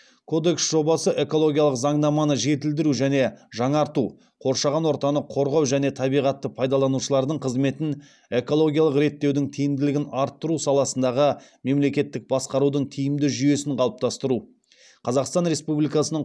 кодекс жобасы экологиялық заңнаманы жетілдіру және жаңарту қоршаған ортаны қорғау және табиғатты пайдаланушылардың қызметін экологиялық реттеудің тиімділігін арттыру саласындағы мемлекеттік басқарудың тиімді жүйесін қалыптастыру қазақстан республикасының